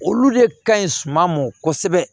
Olu de ka ɲi suma mɔ kosɛbɛ